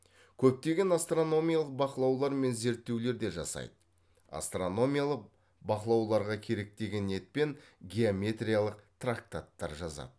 көптеген астрономиялық бақылаулар мен зерттеулер де жасайды астрономиялық бақылауларға керек деген ниетпен геометриялық трактаттар жазады